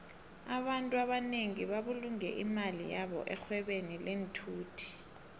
abantfu abanengi babulunge imali yabo erhwebeni lenthuthi